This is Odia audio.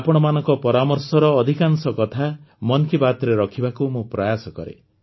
ଆପଣମାନଙ୍କ ପରାମର୍ଶର ଅଧିକାଂଶ କଥା ମନ୍ କି ବାତ୍ରେ ରଖିବାକୁ ମୁଁ ପ୍ରୟାସ କରେ